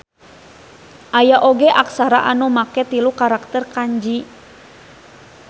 Aya oge aksara anu make tilu karakter kanji